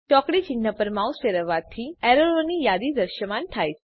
ચોકડી ચિન્હ પર માઉસ ફેરવવાંથી એરરોની યાદી દ્રશ્યમાન થાય છે